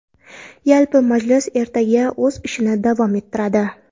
Yalpi majlis ertaga o‘z ishini davom ettiradi.